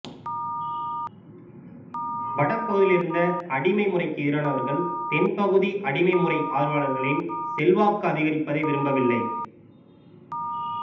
வடபகுதியிலிருந்த அடிமை முறைக்கு எதிரானவர்கள் தென்பகுதி அடிமை முறை ஆதரவாளர்களின் செல்வாக்கு அதிகரிப்பதை விரும்பவில்லை